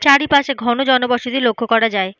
চারিপাশে ঘন জনবসতি লক্ষ করা যায়।